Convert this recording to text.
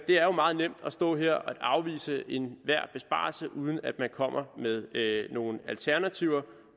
jo meget nemt at stå her og afvise enhver besparelse uden at komme med nogen alternativer